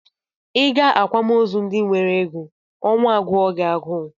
Ị gaa akwamozu ndị nwere ego, ọnwụ agụọ gị agụụ